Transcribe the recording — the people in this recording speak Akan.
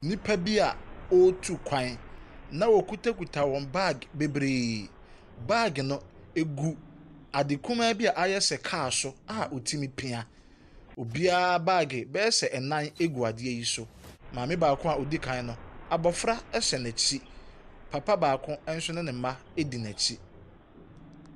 Nnipa bi a wɔretu kwan na wɔkitakita wɔn baage bebree. Baage no gu ade kumaa bi a ayɛ sɛ kaa so a wɔtumi pia. Obiara baage bɛyɛ sɛ nnan gu adeɛ yi so. Maame baako a odi kan no, abɔfra hyɛ n’akyi, papa baako nso ne mma adi n’akyi.